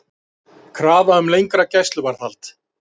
Skuldir ríkisins lækka hægt